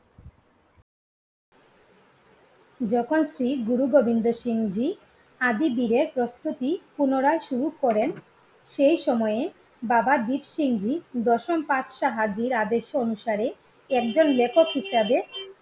যখন শ্রী গুরু গোবিন্দ সিং জি আদিবিরের প্রস্তুতি পুনরায় শুরু করেন সেই সময়ে বাবা দীপসিং জি দশনপাট শাহধীর আদেশ অনুসারে একজন লেখক হিসাবে